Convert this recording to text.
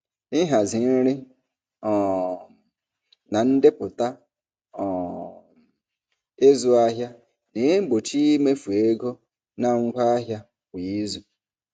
Ịhazi nri um na ndepụta um ịzụ ahịa na-egbochi imefu ego na ngwa ahịa kwa izu.